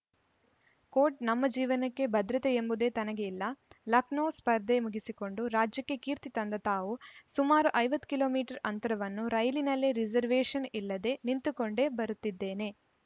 coat ನಮ್ಮ ಜೀವನಕ್ಕೆ ಭದ್ರತೆ ಎಂಬುದೇ ತನಗೆ ಇಲ್ಲ ಲಖ್ನೋ ಸ್ಪರ್ಧೆ ಮುಗಿಸಿಕೊಂಡು ರಾಜ್ಯಕ್ಕೆ ಕೀರ್ತಿ ತಂದ ತಾವು ಸುಮಾರು ಐವತ್ ಕಿಲೋ ಮೀಟರ್ ಅಂತರವನ್ನು ರೈಲಿನಲ್ಲೇ ರಿಸರ್ವೇಷನ್‌ ಇಲ್ಲದೇ ನಿಂತುಕೊಂಡೇ ಬರುತ್ತಿದ್ದೇನೆ